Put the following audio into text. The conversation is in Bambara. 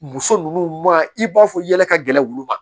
Muso ninnu ma i b'a fɔ yɛlɛ ka gɛlɛn wulu ma